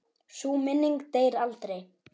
Sú minning deyr aldrei.